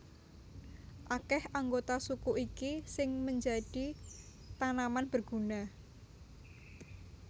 Akèh anggota suku iki sing menjadi tanaman berguna